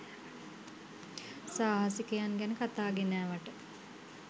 සාහසිකයින් ගැන කතා ගෙනෑවට